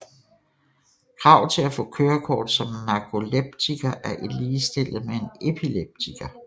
Krav til at få kørekort som narkoleptiker er ligestillet med en epileptiker